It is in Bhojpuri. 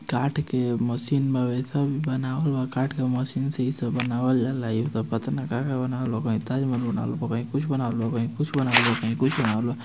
काठ के मशीन में वेसन बनावल बा